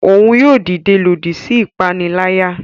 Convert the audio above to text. Òún yóò dide lòdì sí ipanilaya.